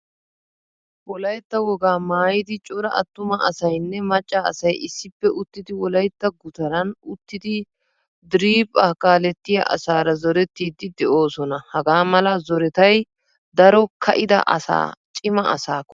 Wolaytta wogaa maayidi cora attuma asaynne macca asay issippe uttidi wolaytta gutaran uttidi diriphphaa kaalettiya asaara zorettidi de:osona. Hagamala zorettay daro ka'ida asaa cima asa koyees.